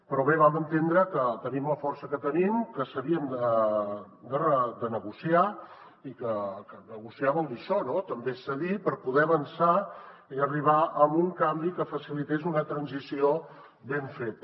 però bé vam entendre que tenim la força que tenim que s’havia de negociar i que negociar vol dir això no també cedir per poder avançar i arribar a un canvi que facilités una transició ben feta